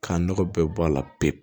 K'a nɔgɔ bɛɛ bɔ a la pewu